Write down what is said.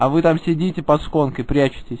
а вы там сидите под шконкой прячитесь